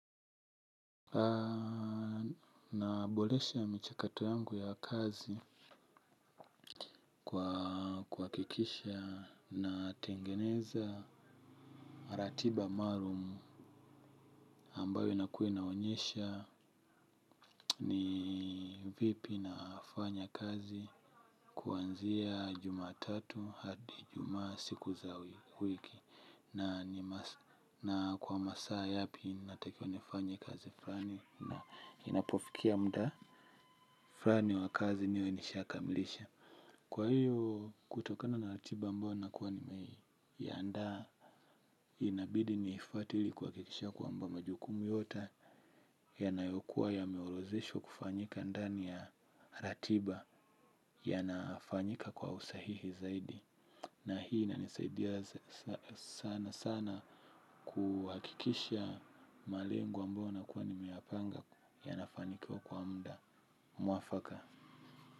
Naboresha michakato yangu ya kazi kwa kuhakikisha natengeneza ratiba maalum ambayo inaku inaonyesha ni vipi nafanya kazi kuanzia Jumatatu hadi Ijumaa siku za wiki na kwa masaa yapi nitakayoifanya kazi fulani na inapofikia muda fulani wa kazi niwe nishakamilisha. Kwa hiyo kutokana na ratiba ambayo nakuwa nimeiandaa. Inabidi niifuate ili kuhakikisha kwamba majukumu yote yanayokuwa ya yameorodheshwa kufanyika ndani ya ratiba yanafanyika kwa usahihi zaidi. Na hii inanisaidia sana sana kuhakikisha malengo ambayo nakuwa nimeyapanga yanafanikiwa kwa muda mwafaka.